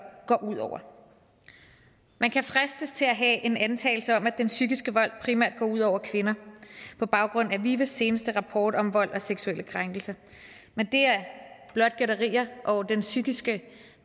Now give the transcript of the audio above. går ud over man kan fristes til at have en antagelse om at den psykiske vold primært går ud over kvinder på baggrund af vives seneste rapport om vold og seksuelle krænkelser men det er blot gætterier den psykiske